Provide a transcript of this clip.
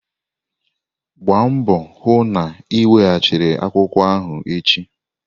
Gbaa mbọ hụ na ị weghachi akwụkwọ ahụ echi!